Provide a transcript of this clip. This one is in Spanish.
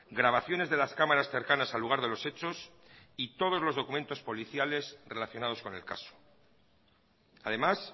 grabaciones de las cámaras cercanas al lugar de los hechos y todos los documentos policiales relacionados con el caso además